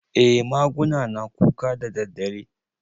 Eh maguna na kuka daddadare.